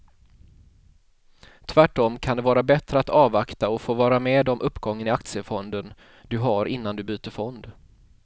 Tvärtom kan det vara bättre att avvakta och få vara med om uppgången i aktiefonden du har innan du byter fond.